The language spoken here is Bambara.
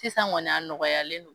Sisan kɔni a nɔgɔyalen no.